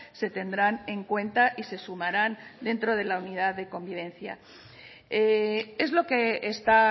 se tendrán en cuenta y se sumarán dentro de la unidad de convivencia es lo que está